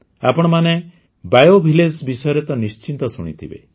ଆପଣମାନେ ବାୟୋଭିଲେଜ୍ ବିଷୟରେ ତ ନିଶ୍ଚୟ ଶୁଣିଥିବେ